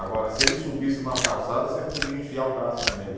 Agora, se ele subisse numa calçada, você podia enfiar o braço nele.